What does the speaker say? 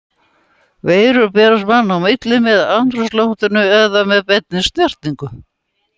Veirur berast manna á milli með andrúmsloftinu eða með beinni snertingu.